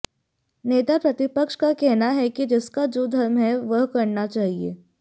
नेता प्रतिपक्ष का कहना है कि जिसका जो धर्म है वह करना चाहिए